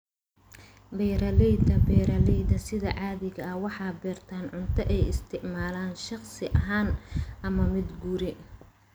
Beeralayda beeralayda sida caadiga ah waxay beertaan cunto ay isticmaalaan shakhsi ahaan ama mid guri.